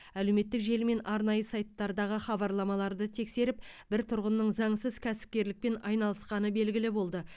әлеуметтік желі мен арнайы сайттардағы хабарламаларды тексеріп бір тұрғынның заңсыз кәсіпкерлікпен айналысқаны белгілі болды